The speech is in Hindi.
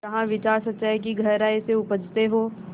जहाँ विचार सच्चाई की गहराई से उपजतें हों